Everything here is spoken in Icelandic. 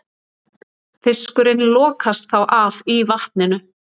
Fiskurinn lokast þá af í vatninu.